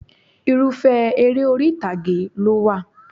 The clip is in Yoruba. Irúfẹ́ eré orí ìtàgé ló wà